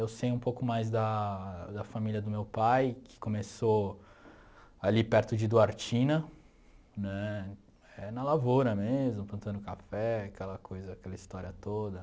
Eu sei um pouco mais da da família do meu pai, que começou ali perto de Duartina, né, na lavoura mesmo, plantando café, aquela coisa, aquela história toda.